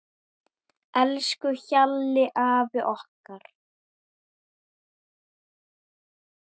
Elsku Hjalli afi okkar.